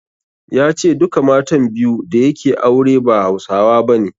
Ya ce duka matan biyu da yake aure ba Hausawa bane.